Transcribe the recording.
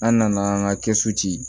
An nana an ka kɛ so ci